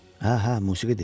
Hə, hə, musiqidir.